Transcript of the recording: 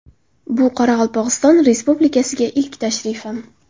Bu Qoraqalpog‘iston Respublikasiga ilk tashrifim.